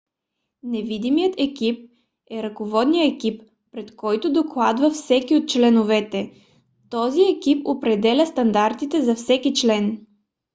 невидимият екип е ръководният екип пред който докладва всеки от членовете. този екип определя стандартите за всеки член